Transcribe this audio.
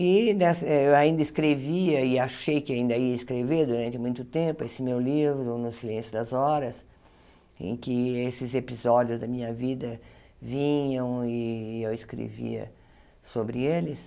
E nes eh eu ainda escrevia e achei que ainda ia escrever durante muito tempo esse meu livro, No Silêncio das Horas, em que esses episódios da minha vida vinham e eu escrevia sobre eles.